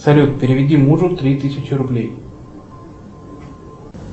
салют переведи мужу три тысячи рублей